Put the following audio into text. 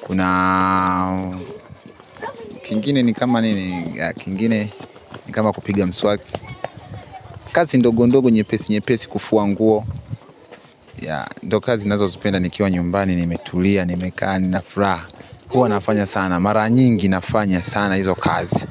kuna kingine ni kama nini, kingine nikama kupiga mswaki kazi ndogo ndogo nyepesi nyepesi kufua nguo ya ndo kazi nazozipenda nikiwa nyumbani nimetulia nimekaa nina furaha, huwa nafanya sana mara nyingi nafanya sana hizo kazi.